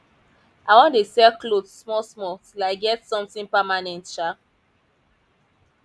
i wan dey sell cloth small small till i get something permanent um